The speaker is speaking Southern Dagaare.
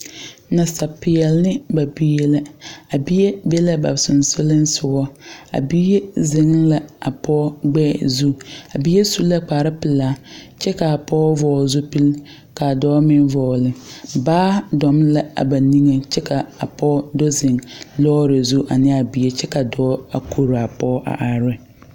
Nasapiɛli ne ba bie la. A bie be la ba susugliŋsugo. A bie zeŋ la a pɔgɔ gbɛɛ zu. A bie su la kparo pulaa kyɛ ka a pɔgɔ vogle zupul ka a dɔɔ meŋ vogle. Baa dome la a ba niŋe kyɛ ka a pɔgɔ do zeŋ lɔre zu ane a bie kyɛ ka a dɔɔ a kore a pɔgɔ a are ne.